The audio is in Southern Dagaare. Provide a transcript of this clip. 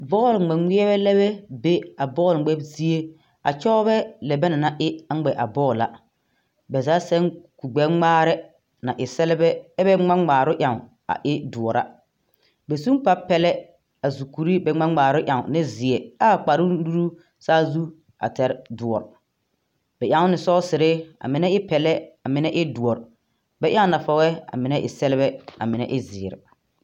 Bol gmegmerebɛ lɛbɛ be a bol gmɛb zie a kyɔrebɛ lɛ bɛ na na e a gmɛ a bol a. Bɛ za sene kur gbɛ gmaare na e sɛlbɛ e bɛ gma gnaaro eŋ a e duor a. Bɛ sun kpar pɛlɛ a zukure eŋ ne zie. Aa kparu nuru saazu a ter duor. Bɛ eŋ ne sɔsire a mene e pɛlɛ a mene e duor. Bɛ eŋ nafage a mene e sɛlbɛ a mene e ziir